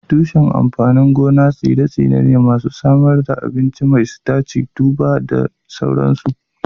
Tushen amfanin gona tsire-tsire ne masu samar da abinci mai sitaci, tubers da sauransu.